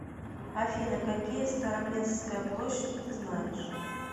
афина какие староместская площадь ты знаешь